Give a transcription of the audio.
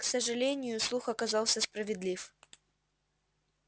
к сожалению слух оказался справедлив